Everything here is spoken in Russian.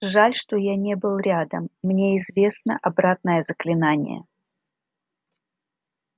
жаль что я не был рядом мне известно обратное заклинание